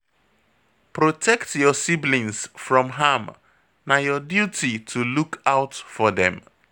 Protect your siblings from harm, na your duty to look out for dem